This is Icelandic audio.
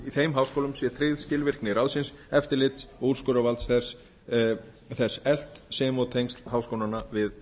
þeim háskólum sé tryggð skilvirkni ráðsins eftirlits og úrskurðarvald þess eflt sem og tengsl háskólanna við